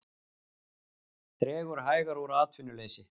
Dregur hægar úr atvinnuleysi